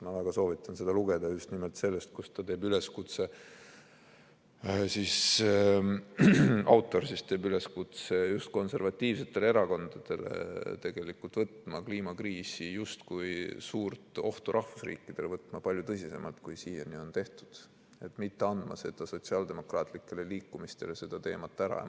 Ma väga soovitan seda lugeda, nimelt seda, kus autor teeb üleskutse just konservatiivsetele erakondadele võtta kliimakriisi kui suurt ohtu rahvusriikidele, võtta seda palju tõsisemalt, kui siiani on tehtud, ja mitte anda sotsiaaldemokraatlikele liikumistele seda teemat ära.